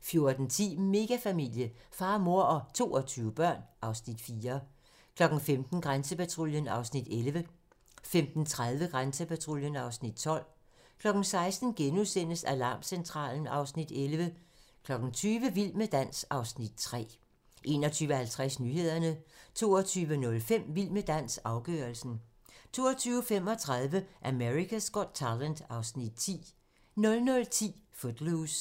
14:10: Megafamilie - far, mor og 22 børn (Afs. 4) 15:00: Grænsepatruljen (Afs. 11) 15:30: Grænsepatruljen (Afs. 12) 16:00: Alarmcentralen (Afs. 11)* 20:00: Vild med dans (Afs. 3) 21:50: Nyhederne 22:05: Vild med dans - afgørelsen 22:35: America's Got Talent (Afs. 10) 00:10: Footloose